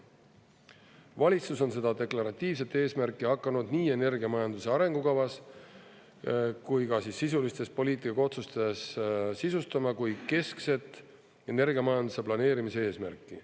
Valitsus on seda deklaratiivset eesmärki hakanud nii energiamajanduse arengukavas kui ka sisulistes poliitika otsustes sisustama kui keskset energiamajanduse planeerimise eesmärki.